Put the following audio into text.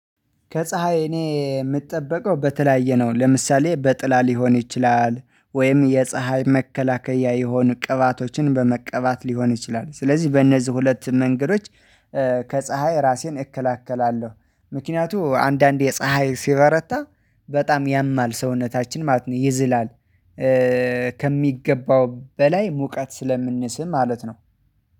ከፀሀይ እኔ የምጠበቀው በተለያየ ነው ለምሳሌ በጥላ ሊሆን ይችላል ወይም የፀሀይ መከላከያ የሆኑ ቅባቶችን በመቀባት ሊሆን ይችላል ስለዚህ በእነዚህ ሁለት መንገዶች። ከፀሀይ ራሴን እከላከላለሁ። ምክንያቱም አንዳንዴ ፀሀይ ሲበረታ በጣም ያማል ሰውነታችን ማለት ነው ይዝላል። ከሚገባው በላይ ሙቀት ስለምንስብ ማለት ነው።